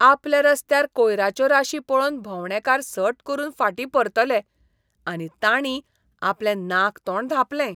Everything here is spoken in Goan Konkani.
आपल्या रस्त्यार कोयराच्यो राशी पळोवन भोवंडेकार सट करून फाटीं परतले आनी ताणीं आपलें नाक तोंड धांपलें.